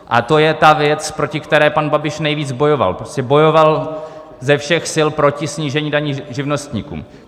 A to je ta věc, proti které pan Babiš nejvíc bojoval, prostě bojoval ze všech sil proti snížení daní živnostníkům.